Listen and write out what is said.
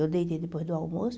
Eu deitei depois do almoço.